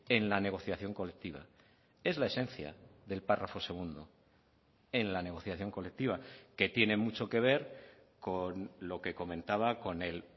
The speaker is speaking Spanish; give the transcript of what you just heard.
en la negociación colectiva es la esencia del párrafo segundo en la negociación colectiva que tiene mucho que ver con lo que comentaba con el